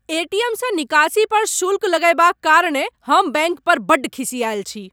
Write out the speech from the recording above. एटीएमसँ निकासी पर शुल्क लगयबाक कारणेँ हम बैंक पर बड्ड खिसियाल छी।